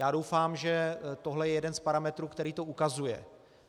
Já doufám, že tohle je jeden z parametrů, který to ukazuje.